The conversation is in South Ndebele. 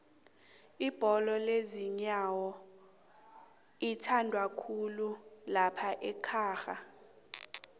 ibholo yenyowo ithandwakhulu laphaekhaga